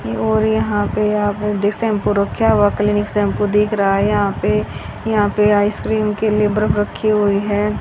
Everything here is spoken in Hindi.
और यहां पे आप दे शैंपो रख्या हुआ क्लिनिक शैंपू दिख रहा है यहां पे यहां पे आइसक्रीम के लिए बर्फ रखी हुई है।